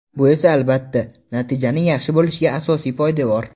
Bu esa albatta, natijaning yaxshi bo‘lishiga asosiy poydevor.